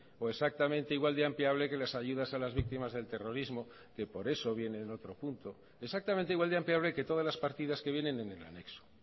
o exactamente igual de ampliable que las ayudas a las víctimas del terrorismo que por eso viene en otro punto exactamente igual de ampliable que todas las partidas que vienen en el anexo